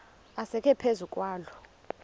asekwe phezu kwaloo